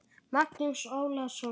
Magnús Ólason.